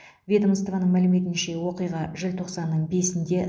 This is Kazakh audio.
ведомствоның мәліметінше оқиға желтоқсанның бесінде